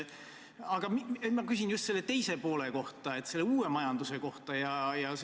Aga ma küsin just selle teise poole kohta, selle nn uue majanduse kohta.